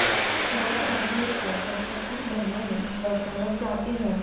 law graduate को एक वकील बनने में वर्षों लग जाते हैं